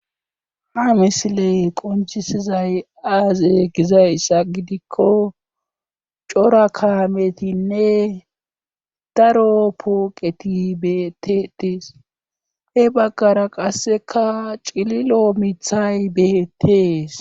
Ha misile qoncisizay aaze gizaysa gidikko cora kaametinne daro pooqeti beteties he baggara qasseka cililo mithay beetees